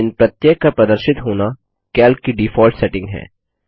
इन प्रत्येक का प्रदर्शित होना कैल्क की डिफॉल्ट सेटिंग है